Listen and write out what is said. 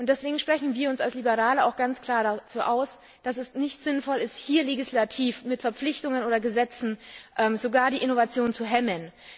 Deswegen sprechen wir uns als Liberale auch ganz klar dafür aus, dass es nicht sinnvoll ist, hier legislativ mit Verpflichtungen oder Gesetzen sogar die Innovation zu hemmen.